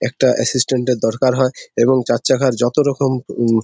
একটা অ্যাসিস্ট্যান্ট এর দরকার হয় এবং চার চাকার যতো রকম উমম--